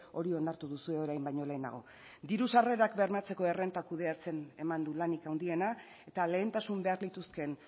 hori onartu duzue orain baino lehenago diru sarrerak bermatzeko errenta kudeatzen eman du lanik handiena eta lehentasun behar lituzkeen